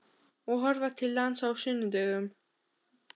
Og horfa til lands á sunnudögum.